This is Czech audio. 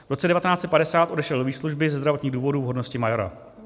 V roce 1950 odešel do výslužby ze zdravotních důvodů v hodnosti majora.